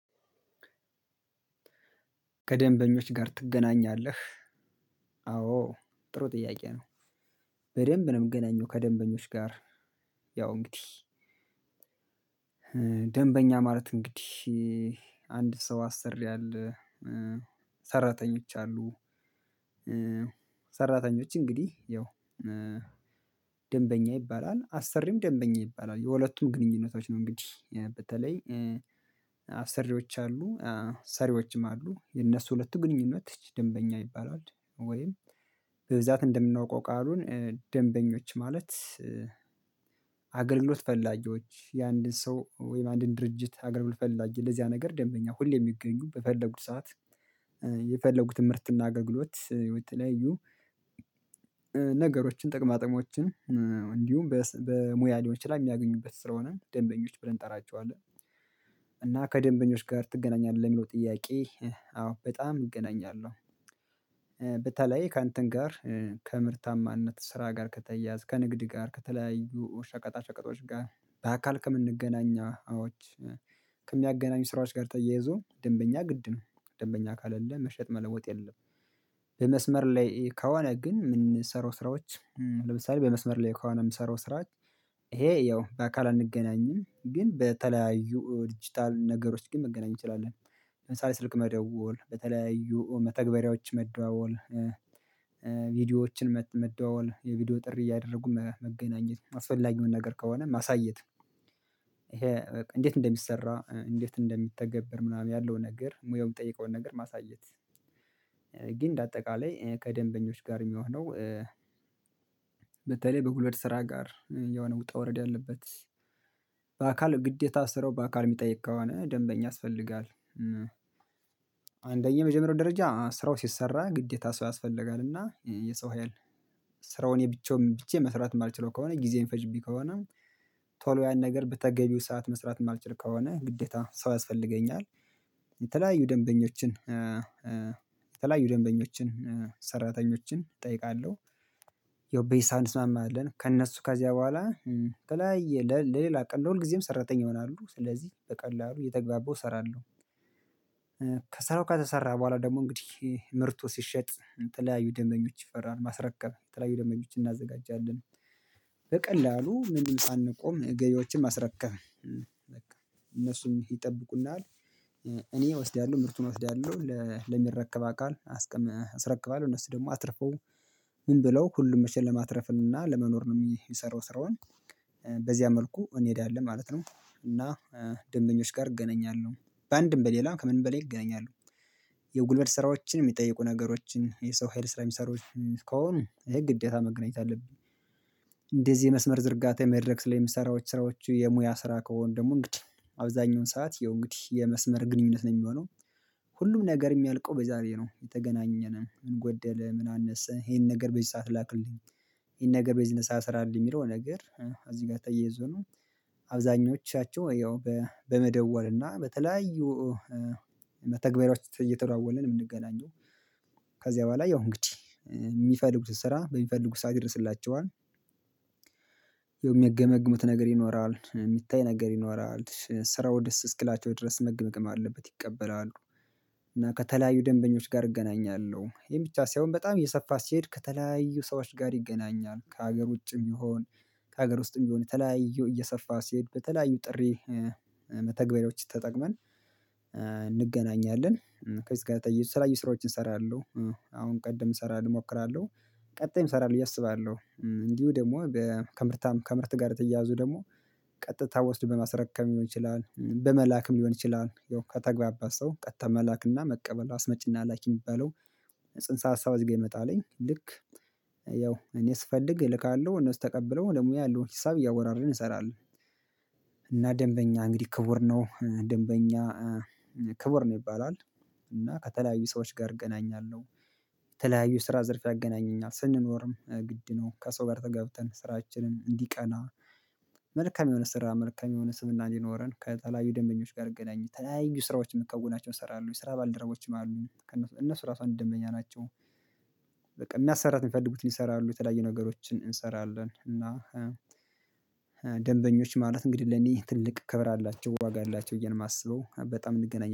ከደንበኞች ጋር ትገናኛለህ? አዎ ጥሩ ጥያቄ ነው በደንብ ነው ምገናኘው ከደንበኞች ጋር። ያው እንግዲህ ደንበኛ ማለት እንግዲህ አንድ ሰው አሰሪ አለ ሰራተኞች አሉ። ሰራተኞች እንግዲህ ያው ደንበኛ ይባላል አሰሪም ደንበኛ ይባላል የሁለቱም ግንኙነቶች ነው። እንግዲህ በተለይ አሰሪዎች አሉ ሰሪዎችም አሉ የነሱ ሁለቱ ግንኙነት ደንበኛ ይባላል። ወይም በብዛት እንደምናውቀው ቃሉን ደንበኞች ማለት አገልግሎት ፈላጊዎች የአንድን ሰው ወይም አንድን ድርጅት አገልግሎት ፈላጊ ለዚያ ነገር ደንበኛ ሁሌ የሚገኙ በፈለጉት ሰዓት የፈለጉትን ምርትና አገልግሎት የተለያዩ ነገሮችን ጥቅማ ጥቅሞችን እንዲሁም በሙያ ሊሆን ይችላል የሚያገኙበት ስለሆነ ደንበኞች ብለን እንጠራቸዋለን። እና ከደንበኞች ጋር ትገናኛለህ ለሚለው ጥያቄ አዎ በጣም እገናኛለሁ። በተለይ ከእንትን ጋር ከምርታማነት ስራ ጋር ከተያያዘ ከንግድ ጋር ከተለያዩ ሸቀጣሸቀጦች ጋር በአካል ከምንገናኛዎች ከሚያገናኙ ስራዎች ጋር ተያይዞ ደንበኛ ግድ ነው ደንበኛ ካሌለህ መሸጥ መለወጥ የለም። በመስመር ላይ ከሆነ ግን ምንሰራው ስራዎች ለምሳሌ በመስመር ላይ ከሆነ ምሰራው ስራ ይሄ ያው በአካል አንገናኝም ግን በተለያዩ ዲጂታል ነገሮች ግን መገናኘት እንችላለን። ለምሳሌ ስልክ መደወል በተለያዩ መተግበሪያዎች መደዋወል ቪዲዮዎችን መደዋወል የቪዲዮ ጥሪ እያደረጉ መገናኘት አስፈላጊውን ነገር ከሆነ ማሳየት ይሄ እንዴት እንደሚሰራ እንዴት እንደሚተገበር ምናምን ያለው ነገር ሙያውን የሚጠይቀውን ነገር ማሳየት። ግን እንደ አጠቃላይ ከደንበኞች ጋር የሚሆነው በተለይ በጉልበት ስራ ጋር የሆነ ውጣ ዉረድ ያለበት በአካል ግዴታ ስራው በአካል የሚጠይቅ ከሆነ ደንበኛ ያስፈልጋል። አንደኛ የመጀመሪያው ደረጃ ስራው ሲሰራ ግዴታ ሰው ያስፈልጋል እና የሰው ሀይል ስራውን የብቻውን ብቻዬን መስራት የማልችለው ከሆነ ጊዜ የሚፈጅብኝ ከሆነ ቶሎ ያን ነገር በተገቢው ሰዓት መስራት የማልችል ከሆነ ግዴታ ሰው ያስፈልገኛል። የተለያዩ ደንበኞችን የተለያዩ ደንበኞችን ሰራተኞችን እጠይቃለሁ ያው በሂሳብ እንስማማለን ከእነሱ ከዚያ በኋላ በተለያየ ለሌላ ቀን ለሁልጊዜም ሰራተኛ ይሆናሉ ስለዚህ በቀላሉ እየተግባባው እሰራለሁ። ከተሰራ በኋላ ደግሞ እንግዲህ ምርቱ ሲሸጥ የተለያዩ ደምበኞች ይፈራሉ ማስረከብ የተለያዩ ደምበኞች እናዘጋጃለን በቀላሉ ምንም ሳንቆም ገብያዎችን ማስረከብ እነሱም ይጠብቁናል እኔ እወስዳለሁ ምርቱን እወስዳለሁ ለሚረከብ አካል አስረክባለሁ እነሱ ደግሞ አትርፈው ምን ብለው ሁሉም መቼም ለማትረፍን እና ለመኖር ነው የሚሰራው ስራውን መልኩ እንሄዳለን ማለት ነው። እና ደንበኞች ጋር እገናኛለሁ በአንድም በሌላ ከምንም በላይ ይገናኛሉ የጉልበት ስራዎችን የሚጠይቁ ነገሮችን የሰው ሀይል ስራ የሚሰሩትን ከሆኑ ይሄ ግዴታ መገናኘት አለብኝ። እንደዚህ የመስመር ዝርጋታ የመድረክ ላይ የምሰራው ስራዎቹ የሙያ ስራ ከሆኑ ደግሞ እንግዲህ አብዛኛውን ሰዓት ያው እንግዲህ የመስመር ግንኙነት ነው የሚሆነው ሁሉም ነገር የሚያልቀው በዛ ላይ ነው እየተገናኘን ምን ጎደለ ምን አነስ ይሄን ነገር በዚህ ሰዓት ላክልኝ ይሄን ነገር በዚህን ሰዓት ስራልኝ የሚለው ነገር እዚህ ጋር ተያይዞ ነው። አብዛኞቻቸው ወይ በ በመደወል እና በተለያዩ መተግበሪያዎች እየተደዋወለን የምንገናኘው ከዚያ በኋላ ያው እንግዲህ የሚፈልጉትን ስራ በሚፈልጉት ሰዓት ይደርስላቸዋል ያው የሚገመግሙት ነገር ይኖራል የሚታይ ነገር ይኖራል ስራው ደስ እስኪላቸው ድረስ መገመገም አለበት ይቀበላሉ። እና ከተለያዩ ደንበኞች ጋር እገናኛለሁ ይሄም ብቻ ሳይሆን በጣም እየሰፋ ሲሄድ ከተለያዩ ሰዎች ጋር ይገናኛል ከሀገር ውጭም ይሁን ከሀገር ውስጥም ይሁን የተለያዩ እየሰፋ ሲሄድ በተለያዩ ጥሪ መተግበሪያዎች ተጠቅመን እንገናኛለን ከዚህ ጋር ተያይዞ የተለያዩ ስራዎችን እሰራለሁ። አሁን ቀደም እሰራለሁ እሞክራለሁ ቀጣይም እሰራለሁ ብዬ አስባለሁ እንዲሁ ደግሞ ከምርታም ከምርት ጋር የተያያዙ ደግሞ ቀጥታ ወስዶ በማስረከብ ሊሆን ይችላል በመላክም ሊሆን ይችላል ያው ከተግባባ ሰው ቀጥታ መላክና መቀበል አስመጭና ላኪ የሚባለው ጽንሰ ሀሳብ እዚ ጋር ይመጣልኝ ልክ ያው እኔ ስፈልግ እልካለሁ እነሱ ተቀብለው ለሙያ ያለውን ሂሳብ እያወራረደን እንሰራለን። እና ደንበኛ እንግዲህ ክቡር ነው ደንበኛ ክቡር ነው ይባላል። እና ከተለያዩ ሰዎች ጋር እገናኛለሁ ከተለያዩ ስራ ዘርፍ ያገናኘኛል ስንኖርም ግድ ነው ከሰው ጋር ተጋብተን ስራችንን እንዲቀና መልካም የሆነ ስራ መልካም የሆነ ስምና እንዲኖረን ከተለያዩ ደንበኞች ጋር እገናኝ የተለያዩ ስራዎችን ምከወናቸው እሰራለሁ የስራ ባልደረቦችም አሉኝ እነሱ ራሱ አንድ ደንበኛ ናቸው። በቃ ማሰራት የሚፈልጉትን ይሰራሉ የተለያየ ነገሮችን እንሰራለን እና ማለት እንግዲህ ለኔ ትልቅ ክብር አላቸው ዋጋ አላቸው ብዬ ነው የማስበው በጣም እንገናኛለን